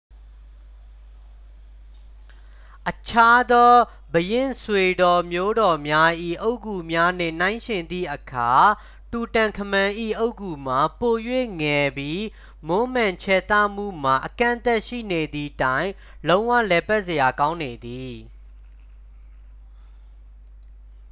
အခြားသော ဘုရင့်ဆွေတော်မျိုးတော်များ၏ အုတ်ဂူများနှင့် နှိုင်းယှဉ်သည့်အခါ တူတန်ခမန်၏ အုတ်ဂူမှာ ပို၍ငယ်ပြီး မွမ်းမံခြယ်သမှုမှာ အကန့်အသတ်ရှိနေသည့်တိုင် လုံးဝလည်ပတ်စရာကောင်းနေသည်